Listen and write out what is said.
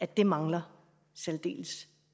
der mangler særdeles